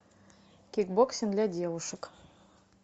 кикбоксинг для девушек